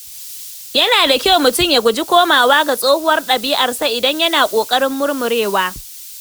Yana da kyau mutum ya guji komawa ga tsohuwar dabi’arsa idan yana kokarin murmurewa.